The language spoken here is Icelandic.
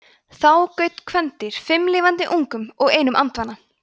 þá gaut kvendýr fimm lifandi ungum og einum andvana